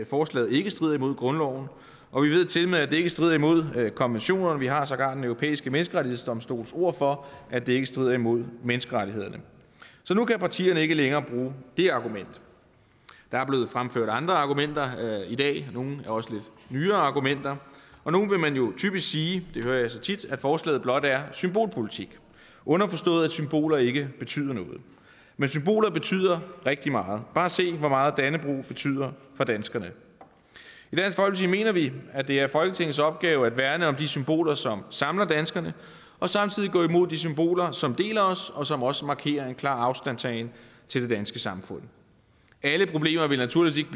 forslaget ikke strider imod grundloven og vi ved tilmed at det ikke strider imod konventionerne vi har sågar den europæiske menneskerettighedsdomstols ord for at det ikke strider imod menneskerettighederne så nu kan partierne ikke længere bruge det argument der er blevet fremført andre argumenter i dag nogle også lidt nyere argumenter og nu vil man jo typisk sige det hører jeg så tit at forslaget blot er symbolpolitik underforstået at symboler ikke betyder noget men symboler betyder rigtig meget bare se hvor meget dannebrog betyder for danskerne i mener vi at det er folketingets opgave at værne om de symboler som samler danskerne og samtidig gå imod de symboler som deler os og som også markerer en klar afstandtagen til det danske samfund alle problemer vil naturligvis